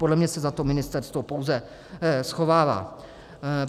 Podle mě se za to ministerstvo pouze schovává.